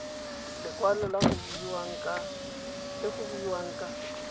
lekwalo le go buiwang ka